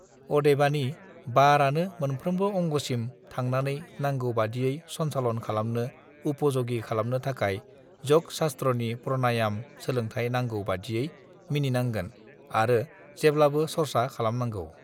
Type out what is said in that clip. अदेबानि बारआनो मोनफ्रोमबो अंगसिम थांनानै नांगौ बादियै सनसालन खालामनो उपयोगी खालामनो थाखाय योग शास्त्रनि प्रानायाम सोलोंथाइ नांगौ बादियै मिनिनांगोन आरो जेब् लाबो सर्सा खालामनांगौ